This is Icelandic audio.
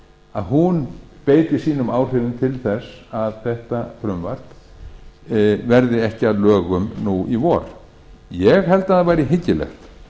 að hún beiti sínum áhrifum til þess að þetta frumvarp verði ekki að lögum nú í vor ég held að það væri hyggilegt